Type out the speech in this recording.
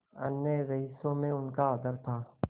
अन्य रईसों में उनका आदर था